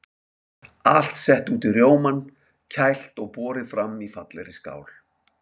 Allt sett út í rjómann, kælt og borið fram í fallegri skál.